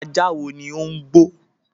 Ajá wo ni ó ń gbọ́?